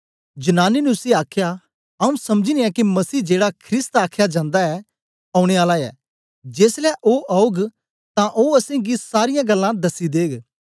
जनानी ने उसी आखया आऊँ समझनी ऐं के मसीह जेड़ा ख्रिस्त आखया जंदा ऐ औने आला ऐ जेसलै ओ औग तां ओ असेंगी सारीयां गल्लां दसी देग